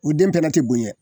U den fɛnɛ te bonyɛ